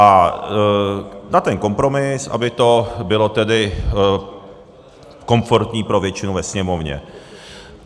A na ten kompromis, aby to bylo tedy komfortní pro většinu ve Sněmovně.